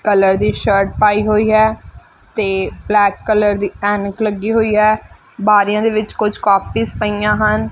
Colour ਦੀ shirt ਪਾਈ ਹੋਈ ਹੈ ਤੇ ਬਲੈਕ ਕਲਰ ਦੀ ਐਨਕ ਲੱਗੀ ਹੋਈ ਹੈ ਬਾਰੀਆਂ ਦੇ ਵਿੱਚ ਕੁਝ ਕਾਪੀਸ ਪਈਆਂ ਹਨ।